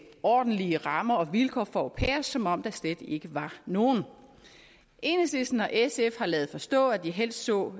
ordentlige rammer og vilkår for au pairer som om der slet ikke var nogen enhedslisten og sf har ladet forstå at de helst så